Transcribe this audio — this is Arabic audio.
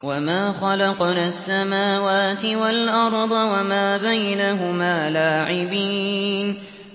وَمَا خَلَقْنَا السَّمَاوَاتِ وَالْأَرْضَ وَمَا بَيْنَهُمَا لَاعِبِينَ